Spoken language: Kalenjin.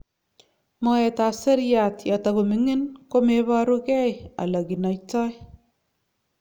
moet ap seriat yatagomingin komeparugei aloginaito